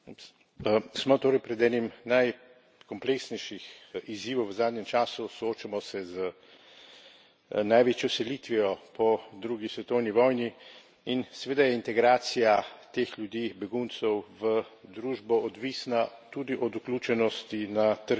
Smo torej pred enim najkompleksnejših izzivov v zadnjem času, soočamo se z največjo selitvijo po drugi svetovni vojni in, seveda, je integracija teh ljudi, beguncev v družbo odvisna tudi od vključenosti na trg dela.